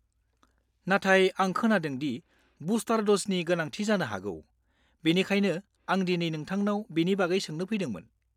नाथाय आं खोनादों दि बुस्टार द'जनि गोनांथि जानो हागौ, बेनिखायनो आं दिनै नोंथांनाव बेनि बागै सोंनो फैदोंमोन।